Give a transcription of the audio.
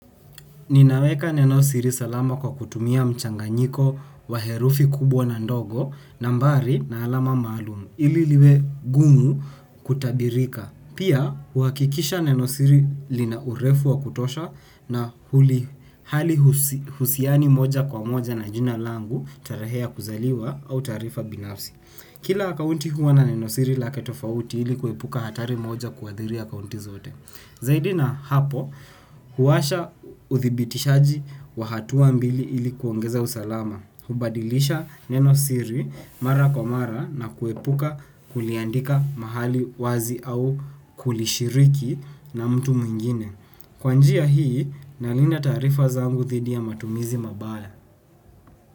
Ninaweka nenosiri salama kwa kutumia mchanganyiko wa herufi kubwa na ndogo nambari na alama maalumu ili liwe gumu kutabirika. Pia, huakikisha nenosiri lina urefu wa kutosha na halihusiani moja kwa moja na jina langu tarehe ya kuzaliwa au taarifa binafsi. Kila akaunti huwa na nenosiri lake tofauti ili kuepuka hatari moja kuadhiri akaunti zote. Zaidi na hapo, huwasha uthibitishaji wahatua mbili ili kuongeza usalama. Hubadilisha neno siri mara kwa mara na kuepuka kuliandika mahali wazi au kulishiriki na mtu mwingine. Kwanjia hii, nalinda taarifa zangu thidi ya matumizi mabaya.